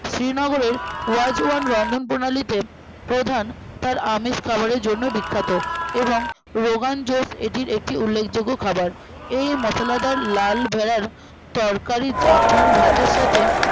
শ্রীনগরের ওয়াচ ওয়ান রন্ধন প্রণালীতে প্রধান তার আমিষ খাবারের জন্য বিখ্যাত এবং রোগান জোশ এটি একটি উল্লেখযোগ্য খাবার এই মশলাদার লাল ভেড়ার তরকারি জাফরান ভাতের সাথে